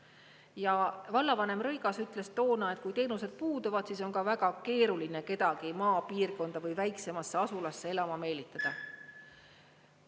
Ja vallavanem Rõigas ütles toona, et kui teenused puuduvad, siis on ka väga keeruline kedagi maapiirkonda või väiksemasse asulasse elama meelitada.